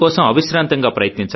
అందుకోసం అవిశ్రాంతంగా